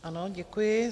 Ano, děkuji.